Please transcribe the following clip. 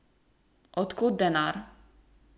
Od kod denar?